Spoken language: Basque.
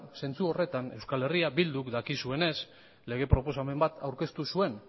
zentzu horretan euskal herria bilduk dakizuenez lege proposamen bat aurkeztu zuen